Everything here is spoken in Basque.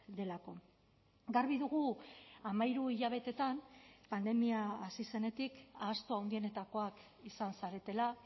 delako garbi dugu hamairu hilabeteetan pandemia hasi zenetik ahaztu handienetakoak izan zaretela